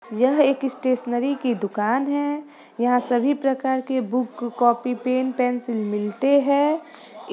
यह एक स्टेशनरी की दुकान है यहाँ सभी प्रकार के बुक कॉपी पेन पेंसिल मिलते हैं इस --